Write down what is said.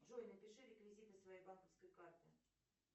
джой напиши реквизиты своей банковской карты